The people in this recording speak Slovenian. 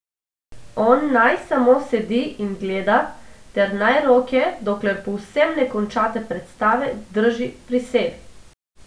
On naj samo sedi in gleda ter naj roke, dokler povsem ne končate predstave, drži pri sebi.